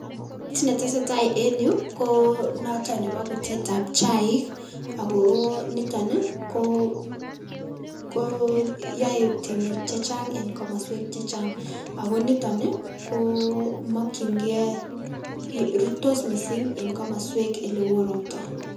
Kiit netesetaa en yuu konoton nebo butetab chaik, akoo niton ii koyoe temiik chechang en komoswek chechang, akoniton ii komokying'e rurtos mising en komoswek olewoo robtaa.